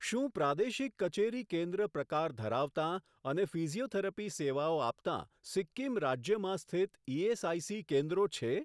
શું પ્રાદેશિક કચેરી કેન્દ્ર પ્રકાર ધરાવતાં અને ફિઝિયોથેરપી સેવાઓ આપતાં સિક્કિમ રાજ્યમાં સ્થિત ઇએસઆઇસી કેન્દ્રો છે?